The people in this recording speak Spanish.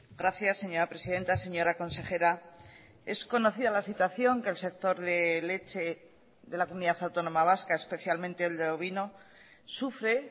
gracias señora presidenta señora consejera es conocida la situación que el sector de leche de la comunidad autónoma vasca especialmente el de ovino sufre